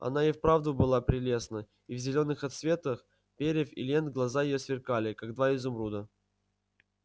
она и вправду была прелестна и в зелёных отсветах перьев и лент глаза её сверкали как два изумруда